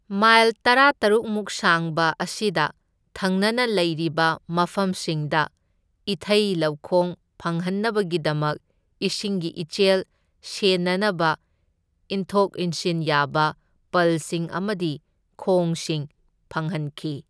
Mile ꯇꯔꯥꯇꯔꯨꯛ ꯃꯨꯛ ꯁꯥꯡꯕ ꯑꯁꯤꯗ ꯊꯪꯅꯅ ꯂꯩꯔꯤꯕ ꯃꯐꯝꯁꯤꯡꯗ ꯏꯊꯩ ꯂꯧꯈꯣꯡ ꯐꯪꯍꯟꯅꯕꯒꯤꯗꯃꯛ ꯏꯁꯤꯡꯒꯤ ꯏꯆꯦꯜ ꯁꯦꯟꯅꯅꯕ ꯏꯤꯟꯊꯣꯛ ꯏꯟꯁꯤꯟ ꯌꯥꯕ ꯄꯜꯁꯤꯡ ꯑꯃꯗꯤ ꯈꯣꯡꯁꯤꯡ ꯐꯪꯍꯟꯈꯤ꯫